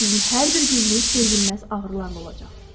Sizin hər bir gününüz dözülməz ağrılarla olacaq.